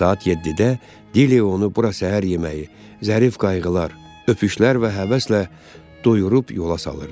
Saat 7-də Dilya onu bura səhər yeməyi, zərif qayğılar, öpüşlər və həvəslə doyurub yola salırdı.